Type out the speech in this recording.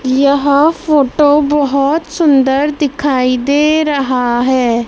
यह फोटो बहोत सुंदर दिखाई दे रहा है।